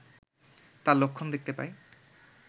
তার লক্ষণ দেখতে পাই